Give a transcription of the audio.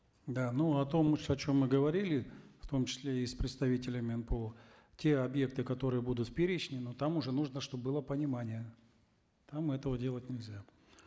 да ну о том о чем мы говорили в том числе и с представителями нпо те объекты которые будут в перечне там уже нужно чтобы было понимание там этого делать нельзя